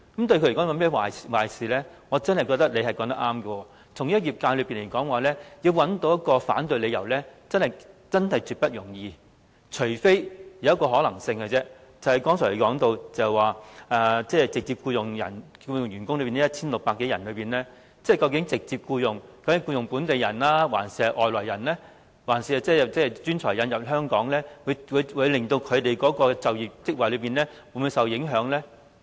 我真的認為他說得對，對業界來說，要找到一個反對理由，真是絕不容易，只有一個可能性，便是他剛才說直接僱用的 1,600 多人之中，究竟直接僱用的是本地人，還是從香港以外引入的專才呢？會否令他們的就業職位受到影響呢？